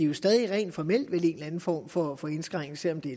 vel stadig rent formelt en eller anden form for for indskrænkning selv om det